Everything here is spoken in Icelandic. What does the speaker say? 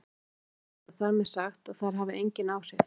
Ekki er auðvitað þar með sagt að þær hafi engin áhrif!